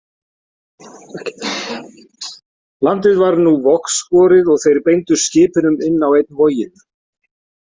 Landið varð nú vogskorið og þeir beindu skipunum inn á einn voginn.